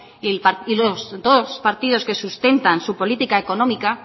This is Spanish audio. y los dos partidos que sustentan su política económica